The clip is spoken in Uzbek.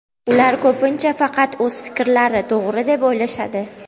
Ular ko‘pincha faqat o‘z fikrlari to‘g‘ri deb o‘ylashadi.